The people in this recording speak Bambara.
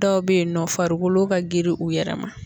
Dɔw bɛ yen nɔ farikolo ka girin u yɛrɛ ma.